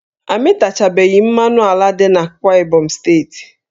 A mịtachabeghi mmanụ ala dị n'Akwa Ibom steeti